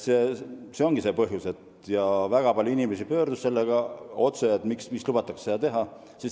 See ongi põhjus, miks väga palju inimesi pöördus otse meie poole, et miks lubatakse seda teha.